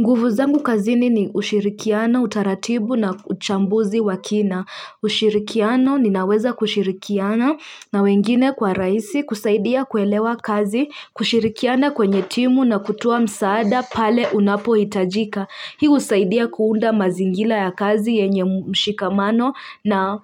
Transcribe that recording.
Nguvu zangu kazini ni ushirikiano utaratibu na uchambuzi wa kina ushirikiano ninaweza kushirikiana na wengine kwa rahisi kusaidia kuelewa kazi kushirikiana kwenye timu na kutoa msaada pale unapohitajika hii husaidia kuunda mazingira ya kazi yenye mshikamano na